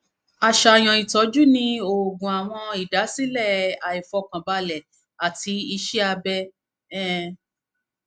aṣayan itọju ni oògùn awọn idasilẹ aifọkanbalẹ ati iṣẹ abẹ um